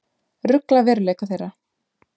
Rugla veruleika þeirra.